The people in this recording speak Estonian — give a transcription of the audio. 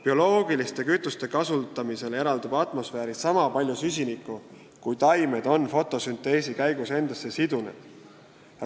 Bioloogiliste kütuste kasutamisel eraldub atmosfääri sama palju süsinikku, kui taimed on fotosünteesi käigus endasse sidunud.